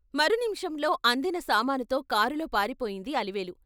మరు నిముషంలో అందిన సామానుతో కారులో పారిపోయింది అలివేలు.